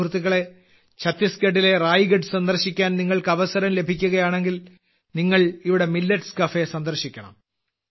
സുഹൃത്തുക്കളേ ഛത്തീസ്ഗഡിലെ റായ്ഗഡ് സന്ദർശിക്കാൻ നിങ്ങൾക്ക് അവസരം ലഭിക്കുകയാണെങ്കിൽ നിങ്ങൾ ഇവിടെ മില്ലറ്റ്സ് കഫേ സന്ദർശിക്കണം